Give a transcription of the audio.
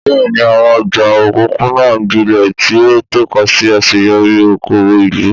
Bẹ́ẹ̀ni, àwọn ọjà òpópónà ń gbilẹ̀, tí ó ń tọ́ka sí àṣeyọrí okòwò ìlú.